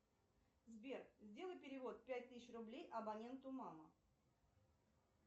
сбер сделай перевод пять тысяч рублей абоненту мама